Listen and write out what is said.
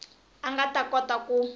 a nga ta kota ku